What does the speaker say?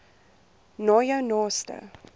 na jou naaste